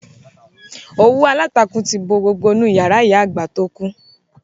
Òwú aláǹtakûn ti bo gbogbo inú yàrá ìyá àgbà tó kú